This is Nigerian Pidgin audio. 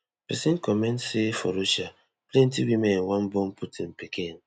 pesin comment say for russia plenty women wan born putin pikin